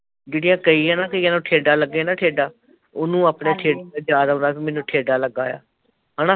ਜਿਹੜੀਆ ਕਈ ਐ ਨਾ, ਕਈਆ ਨੂੰ ਠੇਢਾ ਲੱਗੇ ਨਾ ਠੇਢਾ ਓਹਨੂੰ ਆਪਣੇ ਠੇਢੇ ਤੇ ਯਾਦ ਆਉਂਦਾ ਕੀ ਮੈਨੂੰ ਠੇਢਾ ਲਗਾ ਆ ਹੈਨਾ